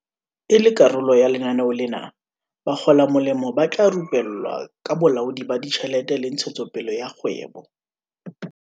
E le karolo ya lenaneo lena, bakgolamolemo ba tla rupellwa ka bolaodi ba ditjhelete le ntshetsopele ya kgwebo.